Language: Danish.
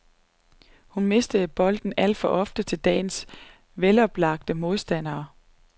Hun mistede bolden alt for ofte til dagens veloplagte modstandere.